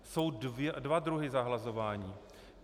Jsou dva druhy zahlazování.